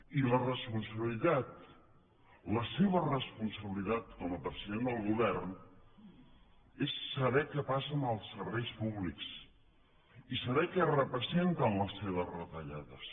i la responsabilitat la seva responsabilitat com a president del govern és saber què passa amb els serveis públics i saber què representen les seves retallades